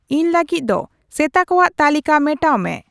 ᱤᱧ ᱞᱟᱹᱜᱤᱫ ᱫᱚ ᱥᱮᱛᱟ ᱠᱚᱣᱟᱜ ᱛᱟᱹᱞᱤᱠᱟ ᱢᱮᱴᱟᱣ ᱢᱮ